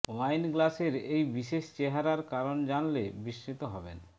wine গ্লাসের এই বিশেষ চেহারার কারণ জানলে বিস্মিত হবেন